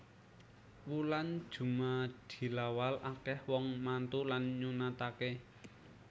Wulan jumadilawal akeh wong mantu lan nyunatake